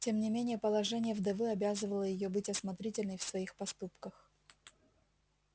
тем не менее положение вдовы обязывало её быть осмотрительной в своих поступках